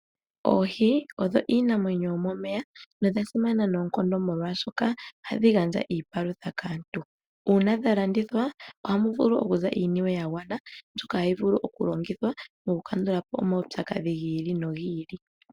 Oohi odho iinamwenyo yomomeya. Nodha simana noonkondo molwaaoshoka ohadhi gandja iiniwe kaantu. Uuna dha landithwa ohamu vulu okuza iiniwe ya gwana mbyoka hayi longithwa moku kandulapo omawupyakadhi gi ili nogi ili.